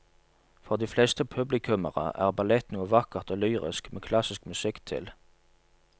For de fleste publikummere er ballett noe vakkert og lyrisk med klassisk musikk til.